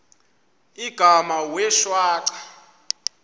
igama wee shwaca